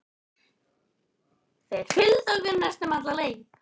Þeir fylgdu okkur næstum alla leið.